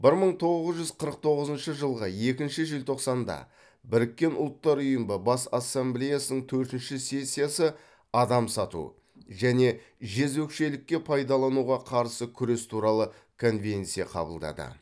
бір мың тоғыз жүз қырық тоғызыншы жылғы екінші желтоқсанда біріккен ұлттар ұйымы бас ассамблеясының төртінші сессиясы адам сату және жезөкшелікке пайдалануға қарсы күрес туралы конвенция қабылдады